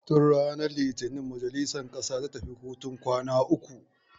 Tun ranar litinin majalisar ƙasa tafi hutun kwana uku.